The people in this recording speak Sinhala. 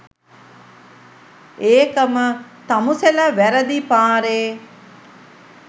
ඒකම තමුසෙලා වැරදි පාරෙ